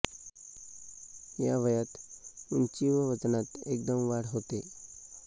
या वयात उंची व वजनात एकदम वाढ होते